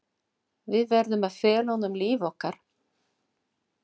Við verðum að fela honum líf okkar.